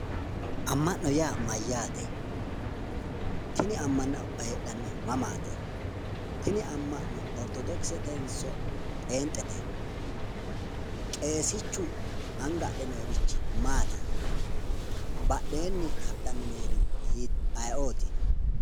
Amma'no yaa mayyaate? Tini amma'no heedhannohu mamaati? tini amma'no orittodokisetenso pheenxete? Qeesichu anga adhe noori maati? badheenni hadhanni noori ayeeoti?